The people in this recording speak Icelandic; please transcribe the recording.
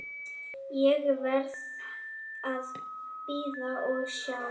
Ég verð að bíða og sjá.